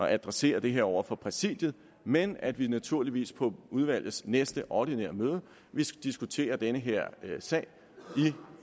adressere det her over for præsidiet men at vi naturligvis på udvalgets næste ordinære møde vil diskutere den her sag